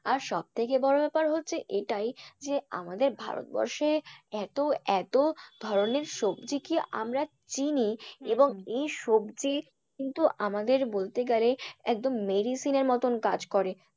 আর সব থেকে বড় ব্যাপার হচ্ছে এটাই যে আমাদের ভারতবর্ষে এত এত ধরনের সবজি কি আমরা চিনি এই সবজি কিন্তু আমাদের বলতে গেলে একদম medicine মতন কাজ করে।